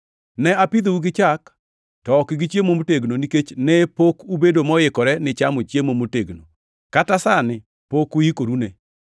Ne apidhou gi chak, to ok gi chiemo motegno nikech ne pok ubedo moikore ni chamo chiemo motegno. Kata sani pok uikorune.